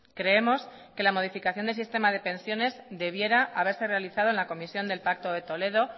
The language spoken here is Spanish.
creemos que la modificación del sistema de pensiones debiera haberse realizado en la comisión del pacto de toledo